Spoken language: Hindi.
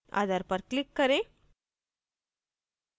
other पर click करें